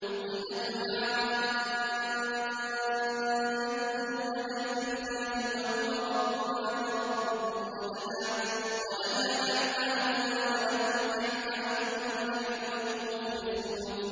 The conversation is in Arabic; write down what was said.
قُلْ أَتُحَاجُّونَنَا فِي اللَّهِ وَهُوَ رَبُّنَا وَرَبُّكُمْ وَلَنَا أَعْمَالُنَا وَلَكُمْ أَعْمَالُكُمْ وَنَحْنُ لَهُ مُخْلِصُونَ